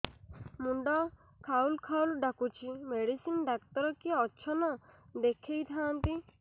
ମୁଣ୍ଡ ଖାଉଲ୍ ଖାଉଲ୍ ଡାକୁଚି ମେଡିସିନ ଡାକ୍ତର କିଏ ଅଛନ୍ ଦେଖେଇ ଥାନ୍ତି